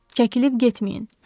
Çəkilib getməyin.